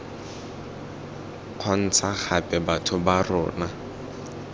kgontsha gape batho ba rona